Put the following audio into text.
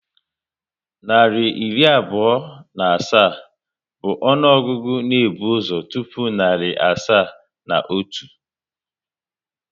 Narị iri abụọ na asaa bụ ọnụọgụgụ na ebu ụzọ tụpụ narị asaa na otu